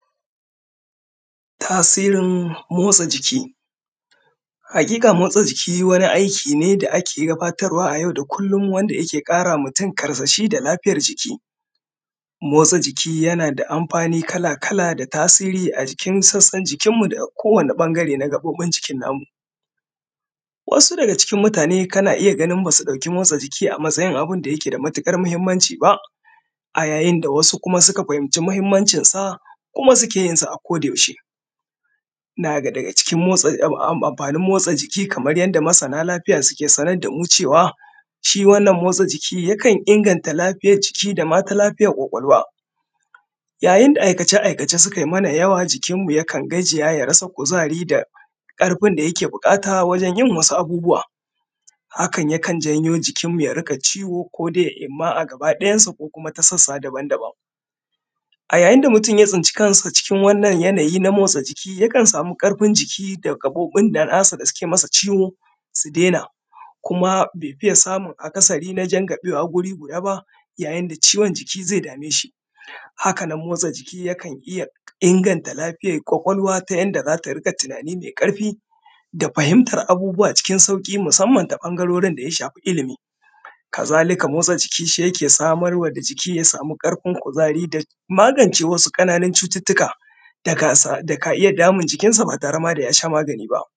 Tasirin motsa jiki, haƙiƙa motsa jiki wani aiki ne da ake gabatarwa a yau da kullum wanda yake ƙara wa mutun karsashi da lafiyar jiki. Motsa jiki yana da amfani kala-kala da tasiri a jikin sassan jikinmu da k; kowane ƃangare na gaƃoƃin jikin namu Wasu daga cikin mutane kana iya ganin ba su ɗauki motsa jiki a matsayin abin da yake da matiƙar mahimmanci ba, a yayin da wasu kuma suka fahimci mahimmancin sa, kuma suke yin sa a kodayaushe.. Na daga cikin motsa; ab am; amfanin motsa jiki kamar yanda masana lafiya suke sanar da mu cewa, shi wannan motsa jiki, yakan inganta lafiyaj jiki da ma ta lafiyar ƙwaƙwalwa. Yayin da aikace-aikace sukai mana yawa, jikinmu yakan gajiya da ya rasa kuzari da ƙarfin da yake buƙata wajen yin wasu abubuwa. Hakan yakan janyo jikinmu ya riƙa ciwo ko de imma a gabaɗayansa ko kuma ta sassa daban-daban. A yayin da mutun ya tsinci kansa cikin wannan yanayi na motsa jiki yakan sami ƙarfin jiki da gaƃoƃin da nasa da suke masa ciwo, si dena, kuma be fiya samun akasari na jangaƃewa guri guda ba yayin da ciwon jiki ze dame shi. Haka nan, motsa jiki yakan iya inganta lafiyay ƙwaƙwalwa ta yanda za ta riƙa tinani me ƙarfi da fahimtar abubuwa cikin sauƙi musamman ta ƃangarorin da ya shafi ilimi. Kazalika motsa jiki, shi yake samar wa da jiki, ya sami ƙarfin kuzari da magance wasu ƙananun cututtuka da ka sa; da ka iya damun jikinsa ba tare ma da ya sha magani ba.